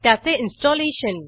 त्याचे इन्स्टॉलेशन